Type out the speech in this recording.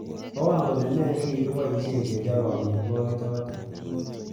Mwawon kole me negigiboishen kechope amitwogik choto